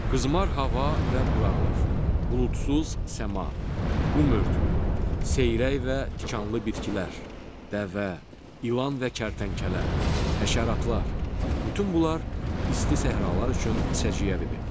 Qızmar hava və quraqlıq, buludsuz səma, qum örtüyü, seyrək və tikanlı bitkilər, dəvə, ilan və kərtənkələ, həşəratlar, bütün bunlar isti səhralar üçün səciyyəvidir.